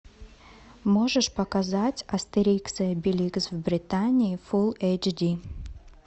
можешь показать астерикс и обеликс в британии фулл эйч ди